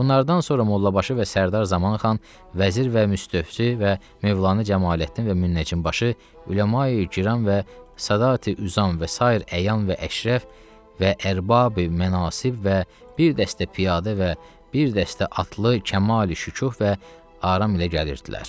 Bunlardan sonra Mollabaşı və Sərdar Zamanxan, vəzir və Müstövfi və Mövlanı Cəmaləddin və Münnəcimin başı Üləmayi Kiram və Sədati Üzam və sair əyan və əşrəf və ərbabi mənasib və bir dəstə piyadə və bir dəstə atlı kəmal şükuh və aram ilə gəlirdilər.